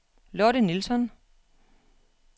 Lotte Nilsson